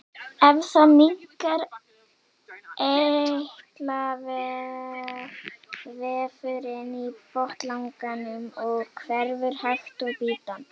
Eftir það minnkar eitlavefurinn í botnlanganum og hverfur hægt og bítandi.